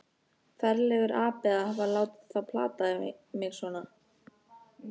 Ferlegur api að hafa látið þá plata mig svona.